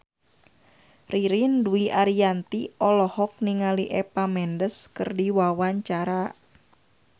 Ririn Dwi Ariyanti olohok ningali Eva Mendes keur diwawancara